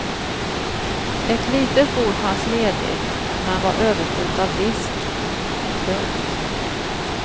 Ett litet bord fanns ledigt men var överfullt av disk. punkt